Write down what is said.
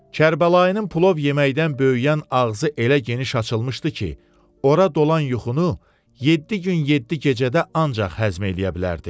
Kərbəlayının plov yeməkdən böyüyən ağzı elə geniş açılmışdı ki, ora dolan yuxunu yeddi gün yeddi gecədə ancaq həzm eləyə bilərdi.